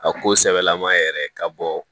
A ko sɛbɛlama yɛrɛ ka bɔ